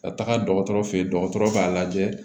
Ka taga dɔgɔtɔrɔ fɛ yen dɔgɔtɔrɔ b'a lajɛ